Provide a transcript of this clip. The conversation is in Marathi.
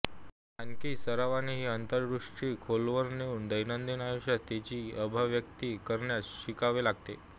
आणखी सरावाने ही अंतर्दृष्टी खोलवर नेऊन दैनंदिन आयुष्यात तिची अभिव्यक्ती करण्यास शिकावे लागते